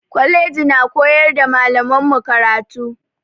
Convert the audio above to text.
Kwalaji na koyara malaman mu karatu